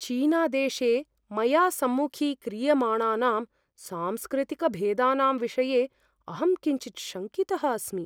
चीनादेशे मया सम्मुखीक्रियमाणानां सांस्कृतिकभेदानां विषये अहं किञ्चित् शङ्कितः अस्मि।